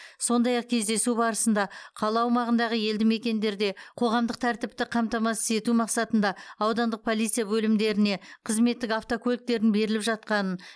сондай ақ кездесу барысында қала аумағындағы елдімекендерде қоғамдық тәртіпті қамтамасыз ету мақсатында аудандық полиция бөлімдеріне қызметтік автокөліктердің беріліп жатқанын